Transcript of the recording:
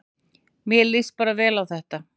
Mér líst bara vel á þetta